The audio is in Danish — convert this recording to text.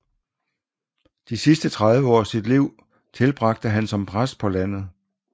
De sidste 30 år af sit liv tilbragte han som præst på landet